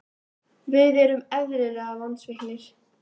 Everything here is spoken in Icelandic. Við erum eðlilega vonsviknir.